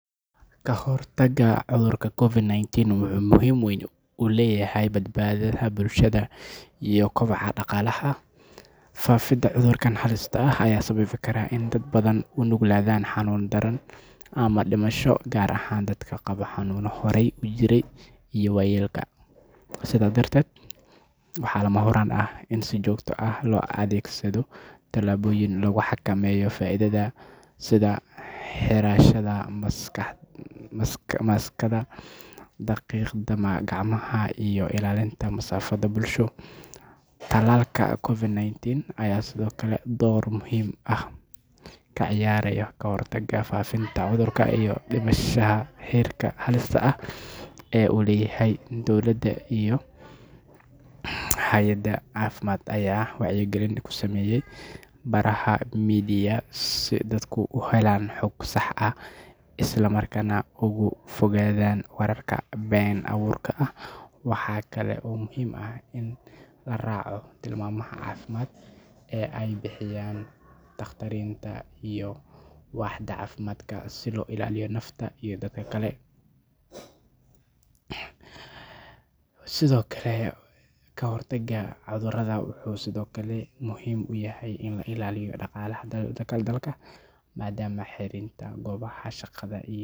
Ka hortagga cudurka COVID-19 wuxuu muhiim weyn u leeyahay badbaadada bulshada iyo kobaca dhaqaalaha. Faafidda cudurkan halista ah ayaa sababi karta in dad badan u nuglaadaan xanuun daran ama dhimasho, gaar ahaan dadka qaba xanuunno horay u jiray iyo waayeelka. Sidaas darteed, waxaa lama huraan ah in si joogto ah loo adeegsado tallaabooyin lagu xakameynayo faafidda sida xirashada maaskarada, dhaqidda gacmaha, iyo ilaalinta masaafada bulsho. Talaalka COVID-19 ayaa sidoo kale door muhiim ah ka ciyaaray kahortagga faafitaanka cudurka iyo dhimista heerka halista ah ee uu leeyahay. Dowladda iyo hay'adaha caafimaadka ayaa wacyigelin ka sameeyay baraha media si dadku u helaan xog sax ah, isla markaana uga fogaadaan wararka been abuurka ah. Waxaa kale oo muhiim ah in la raaco tilmaamaha caafimaad ee ay bixiyaan takhaatiirta iyo waaxda caafimaadka si loo ilaaliyo naftaada iyo dadka kale. Ka hortagga cudurka wuxuu sidoo kale muhiim u yahay in la ilaaliyo dhaqaalaha dalka, maadaama xiritaanka goobaha shaqada iyo.